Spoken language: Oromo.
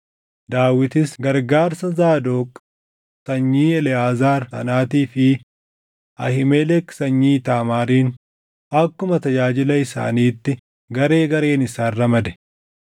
Daawitis gargaarsa Zaadoq sanyii Eleʼaazaar sanaatii fi Ahiimelek sanyii Iitaamaariin akkuma tajaajila isaaniitti garee gareen isaan ramade.